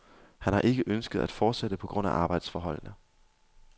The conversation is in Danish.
Han har ikke ønsket at fortsætte på grund af arbejdsforholdene.